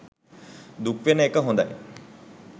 දුක් වෙන එක හොඳයි.